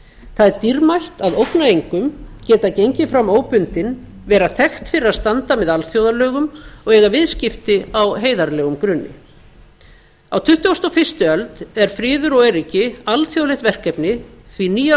það er dýrmætt að ógna engum geta gengið fram óbundinn vera þekkt fyrir að standa með alþjóðum og eiga viðskipti á heiðarlegum grunni á tuttugustu og fyrstu öld er friður og öryggi alþjóðlegt verkefni því nýjar